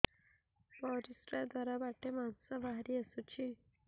ପରିଶ୍ରା ଦ୍ୱାର ବାଟେ ମାଂସ ବାହାରି ଆସୁଛି